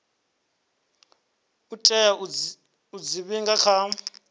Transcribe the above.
tea u dzi vhiga kha